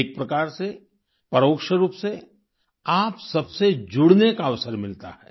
एक प्रकार से परोक्ष रूप से आप सबसे जुड़ने का अवसर मिलता है